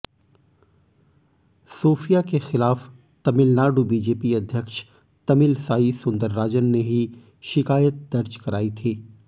Sophia के खिलाफ Tamil Nadu BJP अध्यक्ष तमिलसाई सुंदरराजन ने ही शिकायत दर्ज कराई थी